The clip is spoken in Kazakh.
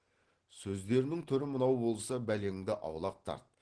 сөздерінің түрі мынау болса бәлеңді аулақ тарт